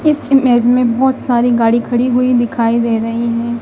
इस इमेज में बहुत सारी गाड़ी खड़ी हुई दिखाई दे रही हैं।